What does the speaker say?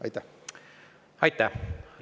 Aitäh!